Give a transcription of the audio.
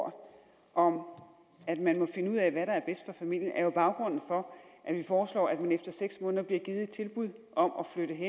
ord om at man må finde ud af hvad der er bedst for familien er jo baggrunden for at vi foreslår at de efter seks måneder bliver givet et tilbud om